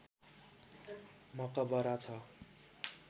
मकबरा छ